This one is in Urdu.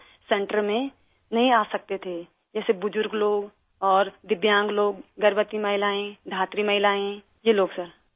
جو لوگ سنٹر میں نہیں آ سکتے تھے، جیسے بزرگ لوگ اور معذور افراد، حاملہ عورتیں، دھاتری عورتیں یہ لوگ سر